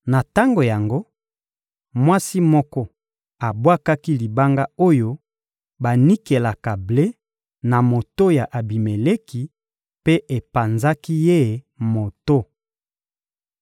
Na tango yango, mwasi moko abwakaki libanga oyo banikelaka ble na moto ya Abimeleki mpe epanzaki ye moto.